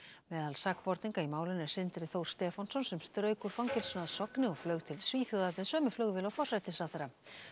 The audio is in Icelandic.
meðal sakborninga í málinu er Sindri Þór Stefánsson sem strauk úr fangelsinu að Sogni og flaug til Svíþjóðar með sömu flugvél og forsætisráðherra